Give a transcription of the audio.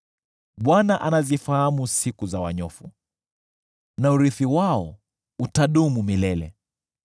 Bwana anazifahamu siku za wanyofu, na urithi wao utadumu milele.